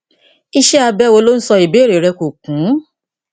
iṣẹ abẹ wo lo ń sọ ìbéèrè rẹ kò kún